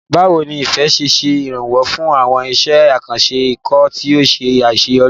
Báwo ni Ife ṣe ṣe ìrànwọ́ fún àwọn iṣẹ́ àkànṣe ikọ̀ tí ó ṣe àṣeyọrí?